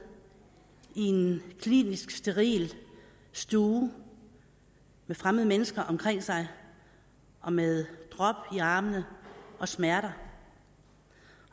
i en klinisk og steril stue med fremmede mennesker omkring sig og med drop i armene og smerter